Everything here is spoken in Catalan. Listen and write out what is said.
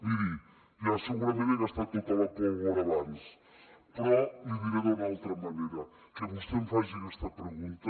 miri ja segurament he gastat tota la pólvora abans però li diré d’una altra manera que vostè em faci aquesta pregunta